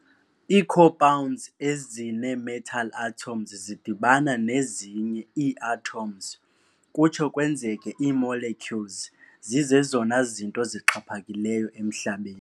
Ii-Compounds, ezinee-metal atoms zidibana nezinye ii-atoms kutsho kwenzeke ii-molecules, zizezona zinto zixhaphakileyo emHlabeni.